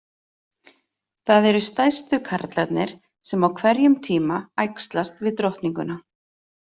Það eru stærstu karlarnir sem á hverjum tíma æxlast við drottninguna.